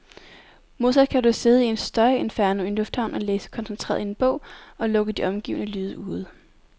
Modsat kan du sidde i et støjinferno i en lufthavn og læse koncentreret i en bog, og lukke de omgivende lyde ude.